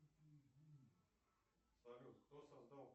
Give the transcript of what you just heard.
салют кто создал